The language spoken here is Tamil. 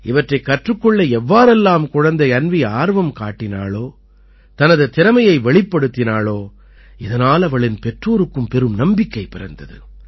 இவற்றைக் கற்றுக் கொள்ள எவ்வாறெல்லாம் குழந்தை அன்வீ ஆர்வம் காட்டினாளோ தனது திறமையை வெளிப்படுத்தினாளோ இதனால் அவளின் பெற்றோருக்கும் பெரும் நம்பிக்கை பிறந்தது